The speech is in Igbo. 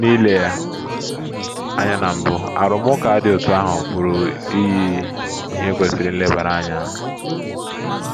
N’ile ya anya na mbụ, arụmụka dị otú ahụ pụrụ iyi ihe kwesịrị nlebara anya.